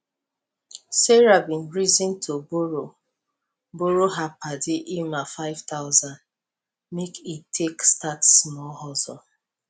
sarah bin reason to borrow borrow her padi emma five thousand make e take start small hustle